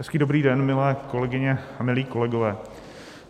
Hezký dobrý den, milé kolegyně a milí kolegové.